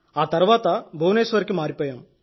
ఆ తర్వాత భువనేశ్వర్ కి మారాను